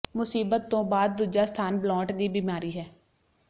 ਮੁਸੀਬਤ ਤੋਂ ਬਾਅਦ ਦੂਜਾ ਸਥਾਨ ਬਲੌਂਟ ਦੀ ਬਿਮਾਰੀ ਹੈ